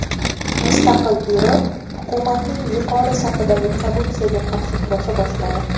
Mustaqil byuro hukumatning yuqori safidagi korrupsiyaga qarshi kurasha boshladi.